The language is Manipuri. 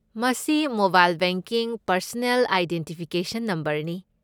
ꯃꯁꯤ ꯃꯣꯕꯥꯏꯜ ꯕꯦꯡꯀꯤꯡ ꯄꯔꯁꯅꯦꯜ ꯑꯥꯏꯗꯦꯟꯇꯤꯐꯤꯀꯦꯁꯟ ꯅꯝꯕꯔꯅꯤ꯫